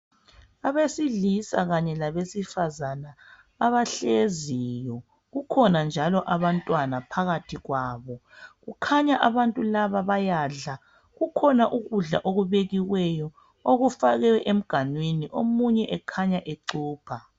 Abesilisa kanye labesifazana abahleziyo kukhona njalo abantwana phakathi kwabo kukhanya abantu laba bayadla kukhona ukudla okubekiweyo okufakwe emganwini omunye ukhanya ecupha.